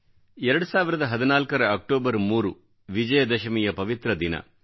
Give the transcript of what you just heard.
2014 ರ ಅಕ್ಟೋಬರ್ 3 ವಿಜಯದಶಮಿಯ ಪವಿತ್ರ ದಿನ